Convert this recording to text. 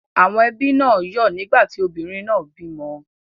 Àwọn ẹbí náà yọ́ ọ̀ nígbà tí obìnrin náà bímọ.